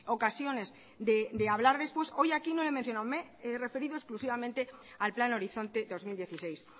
ocasiones de hablar después hoy aquí no he mencionado me he referido exclusivamente al plan horizonte dos mil dieciséis